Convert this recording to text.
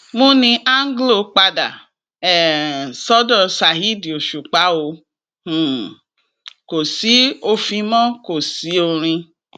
múni anglo padà um sọdọ saheed òṣùpá o um kò sí ofi mọ́ kò sí orin